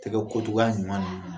Tɛgɛ ko togoya ɲuman d'u ma.